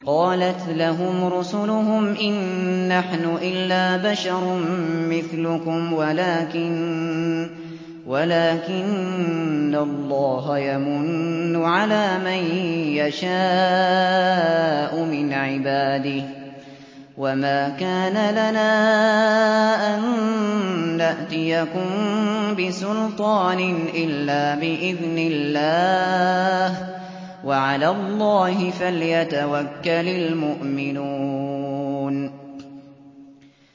قَالَتْ لَهُمْ رُسُلُهُمْ إِن نَّحْنُ إِلَّا بَشَرٌ مِّثْلُكُمْ وَلَٰكِنَّ اللَّهَ يَمُنُّ عَلَىٰ مَن يَشَاءُ مِنْ عِبَادِهِ ۖ وَمَا كَانَ لَنَا أَن نَّأْتِيَكُم بِسُلْطَانٍ إِلَّا بِإِذْنِ اللَّهِ ۚ وَعَلَى اللَّهِ فَلْيَتَوَكَّلِ الْمُؤْمِنُونَ